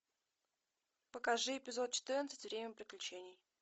покажи эпизод четырнадцать время приключений